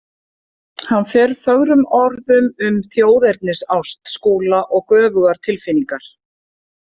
Hann fer fögrum orðum um þjóðernisást Skúla og göfugar tilfinningar.